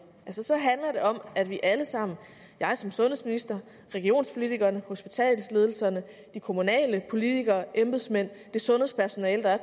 så handler det om at vi alle sammen jeg som sundhedsminister regionspolitikerne hospitalsledelserne de kommunale politikere embedsmændene og det sundhedspersonale der er